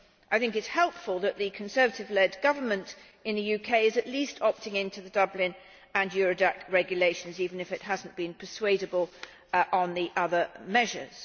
I think it is helpful that the Conservative led government in the UK is at least opting into the Dublin and Eurodac regulations, even if it has not been persuadable on the other measures.